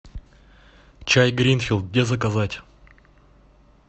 чай гринфилд где заказать